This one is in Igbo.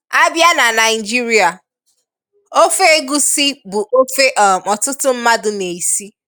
A bịa na Naịjirịa, ofe egusi bụ ofe um ọtụtụ mmadụ n'esi.